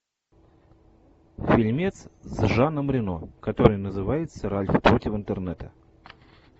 фильмец с жаном рено который называется ральф против интернета